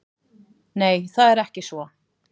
Nei, það er ekki svo.